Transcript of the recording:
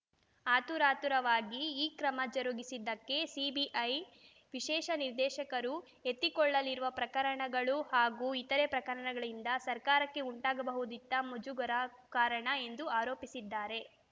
ಆತುರಾತುರವಾಗಿ ಈ ಕ್ರಮ ಜರುಗಿಸಿದ್ದಕ್ಕೆ ಸಿಬಿಐ ವಿಶೇಷ ನಿರ್ದೇಶಕರು ಎತ್ತಿಕೊಳ್ಳಲಿರುವ ಪ್ರಕರಣಗಳು ಹಾಗೂ ಇತರೆ ಪ್ರಕರಣಗಳಿಂದ ಸರ್ಕಾರಕ್ಕೆ ಉಂಟಾಗಬಹುದಿದ್ದ ಮುಜುಗರ ಕಾರಣ ಎಂದು ಆರೋಪಿಸಿದ್ದಾರೆ